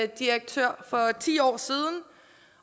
direktør for ti år siden